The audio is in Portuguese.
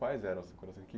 Quais eram as recordações?